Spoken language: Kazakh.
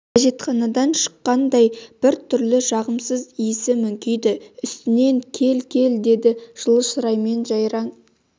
әжетханадан шыққандай бір түрлі жағымсыз иісі мүңкиді үстінен кел кел деді жылы шыраймен жайраң